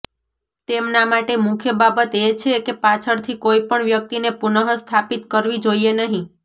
તેમના માટે મુખ્ય બાબત એ છે કે પાછળથી કોઈ પણ વ્યક્તિને પુનઃસ્થાપિત કરવી જોઈએ નહીં